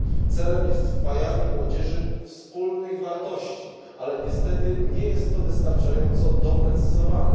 Celem jest wpajanie młodzieży wspólnych wartości, ale niestety nie jest to wystarczająco doprecyzowane.